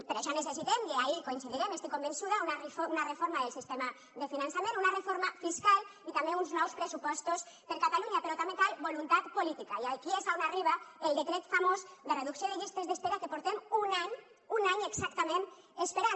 per això necessitem i ahí coincidirem una reforma del sistema de finançament una reforma fiscal i també uns nous pressupostos per a catalunya però també cal voluntat política i aquí és on arriba el decret famós de reducció de llistes d’espera que portem un any un any exactament esperant